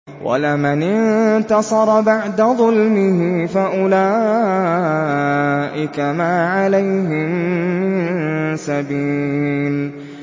وَلَمَنِ انتَصَرَ بَعْدَ ظُلْمِهِ فَأُولَٰئِكَ مَا عَلَيْهِم مِّن سَبِيلٍ